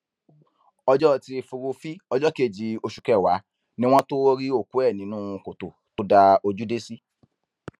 ọjọ etí furuufee ọjọ kejì oṣù kẹwàá ni wọn tóó rí òkú ẹ nínú kòtò tó dá ojú dé sí